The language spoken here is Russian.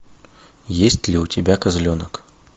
есть ли у тебя козленок